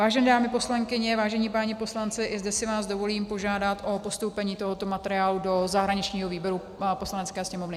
Vážené dámy poslankyně, vážení páni poslanci, i zde si vás dovolím požádat o postoupení tohoto materiálu do zahraničního výboru Poslanecké sněmovny.